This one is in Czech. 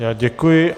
Já děkuji.